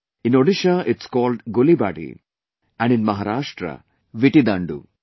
In Odisha it's called Gulibadi and in Maharashtra, Vittidaaloo